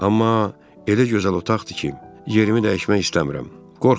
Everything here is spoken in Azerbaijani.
Amma elə gözəl otaqdır ki, yeri dəyişmək istəmirəm.